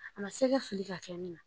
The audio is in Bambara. A ma sɛgɛ fili ka kɛ ne na